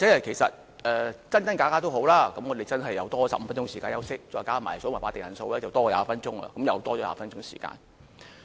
其實真真假假也好，我們又真是有多15分鐘時間休息，再加上計算法定人數的時間，我們便多了20分鐘的時間。